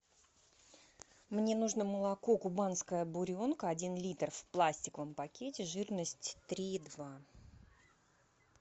мне нужно молоко кубанская буренка один литр в пластиковом пакете жирность три и два